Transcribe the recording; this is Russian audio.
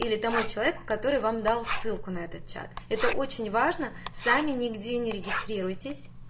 или тому человеку который вам дал ссылку на этот чат это очень важно сами нигде не регистрируйтесь